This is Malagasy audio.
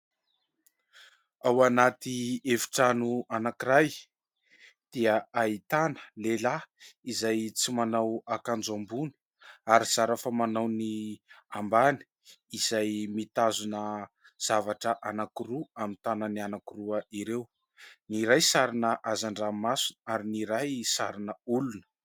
Ao anaty efitrano anankiray dia ahitana lehilahy izay tsy manao akanjo ambony ary zara fa manao ny ambany, izay mitazona zavatra anankiroa amin'ny tanany anankiroa ireo. Ny iray sarina hazan-dranomasina ary ny iray sarina olona.